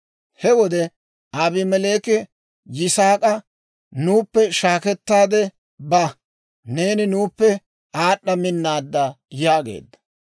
He wode Abimeleeki Yisaak'a, «Nuuppe shaakettaade ba; neeni nuuppe aad'd'a minnaadda» yaageedda.